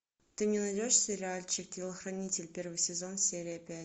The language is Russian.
ты не найдешь сериальчик телохранитель первый сезон серия пять